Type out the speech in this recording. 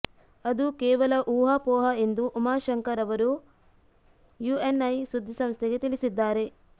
ಅದು ಕೇವಲ ಊಹಾಪೋಹ ಎಂದು ಉಮಾಶಂಕರ್ ಅವರು ಯುಎನ್ಐ ಸುದ್ದಿಸಂಸ್ಥೆಗೆ ತಿಳಿಸಿದ್ದಾರೆ